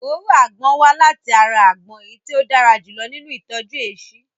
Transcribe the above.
Òróró àgbon wá láti ara àgbon èyí tí ó dára jù lọ nínu ìtọ́jú èéṣí